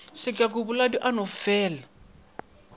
sekaku boladu a no felaa